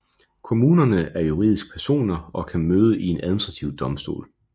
Kommunerne er juridiske personer og kan møde i en administrativ domstol